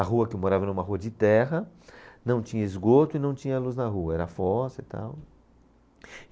A rua que eu morava era uma rua de terra, não tinha esgoto e não tinha luz na rua, era fossa e tal.